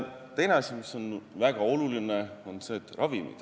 Teiseks, väga olulised on ravimid.